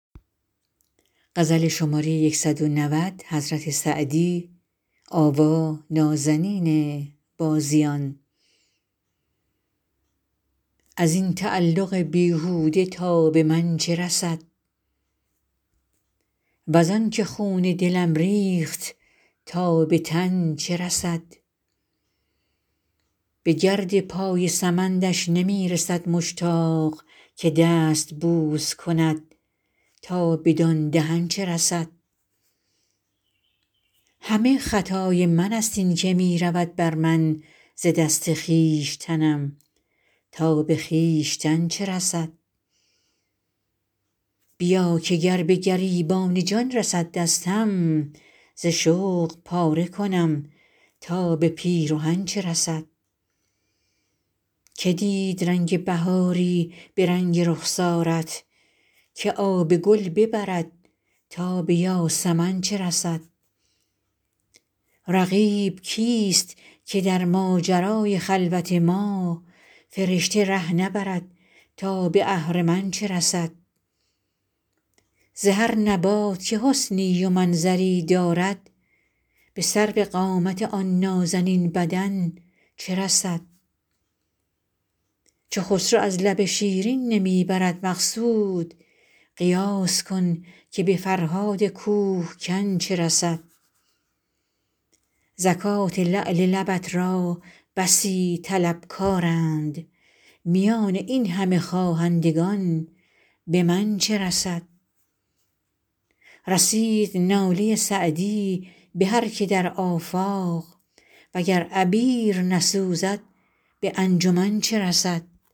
از این تعلق بیهوده تا به من چه رسد وز آن که خون دلم ریخت تا به تن چه رسد به گرد پای سمندش نمی رسد مشتاق که دست بوس کند تا بدان دهن چه رسد همه خطای من ست این که می رود بر من ز دست خویشتنم تا به خویشتن چه رسد بیا که گر به گریبان جان رسد دستم ز شوق پاره کنم تا به پیرهن چه رسد که دید رنگ بهاری به رنگ رخسارت که آب گل ببرد تا به یاسمن چه رسد رقیب کیست که در ماجرای خلوت ما فرشته ره نبرد تا به اهرمن چه رسد ز هر نبات که حسنی و منظری دارد به سروقامت آن نازنین بدن چه رسد چو خسرو از لب شیرین نمی برد مقصود قیاس کن که به فرهاد کوه کن چه رسد زکات لعل لبت را بسی طلبکارند میان این همه خواهندگان به من چه رسد رسید ناله سعدی به هر که در آفاق و گر عبیر نسوزد به انجمن چه رسد